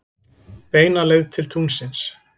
Beina leið til tunglsins.